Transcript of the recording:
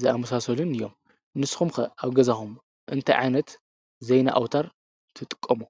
ዝኣምሳሰሉን እዮም። ንስካትኩም ከ ኣብገዛኹም እንታይ ዓይነት ዜና ኣውታር ትጥቀሙ?